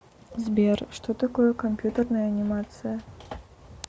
сбер что такое компьютерная анимация